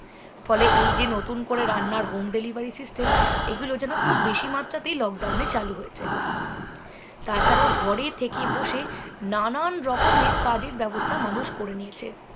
ফলে এই যে নতুন করে রান্নার home delivery system এইগুলো যেন খুব বেশি মাত্রাতেই lockdown এ চালু হয়েছে তাছাড়াও ঘরে থেকে বসে নানান রকমের কাজের ব্যবস্থা মানুষ করে নিয়েছে